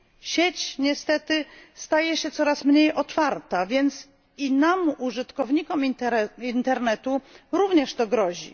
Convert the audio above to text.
Sieć niestety staje się coraz mniej otwarta, więc i nam użytkownikom internetu również to grozi.